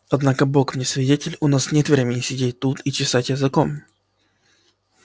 однако бог мне свидетель у нас нет времени сидеть тут и чесать языком